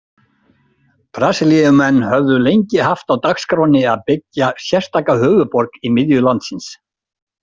Brasilíumenn höfðu lengi haft á dagskránni að byggja sérstaka höfuðborg í miðju landsins.